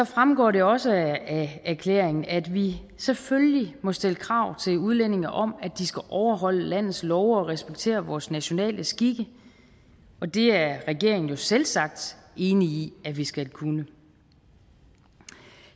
fremgår det også af erklæringen at vi selvfølgelig må stille krav til udlændinge om at de skal overholde landets love og respektere vores nationale skikke og det er regeringen jo selvsagt enig i at vi skal kunne